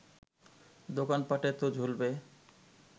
দোকানপাটে তো ঝুলবে